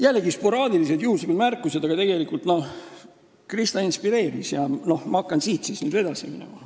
Jällegi sporaadilised, juhuslikud märkused, aga Krista inspireeris mind ja ma hakkan siis nüüd edasi minema.